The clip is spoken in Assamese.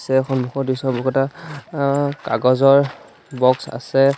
তাৰে সন্মুখৰ দৃশ্য বহুকেইটা অ কাগজৰ বক্স আছে।